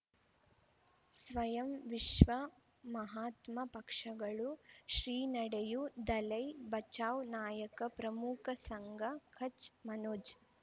ಸ್ವಯಂ ವಿಶ್ವ ಮಹಾತ್ಮ ಪಕ್ಷಗಳು ಶ್ರೀ ನಡೆಯೂ ದಲೈ ಬಚೌ ನಾಯಕ ಪ್ರಮುಖ ಸಂಘ ಕಚ್ ಮನೋಜ್